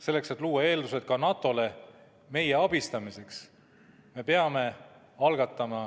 Selleks, et luua eeldused ka NATO-le meie abistamiseks, peame algatama